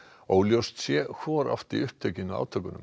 óljóst sé hvor átti upptökin að átökunum